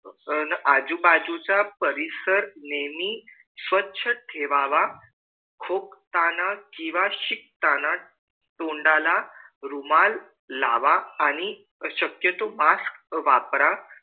अन आजू बाजू च्या परिसर नेहमी स्वच्छ ठेववा खोकताना कीवा शिंकताना तोंडाला रुमाल लावा आणि शक्यतो mask वापरा